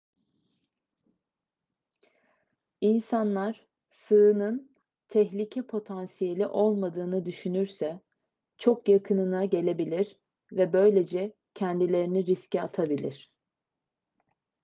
i̇nsanlar sığının tehlike potansiyeli olmadığını düşünürse çok yakınına gelebilir ve böylece kendilerini riske atabilir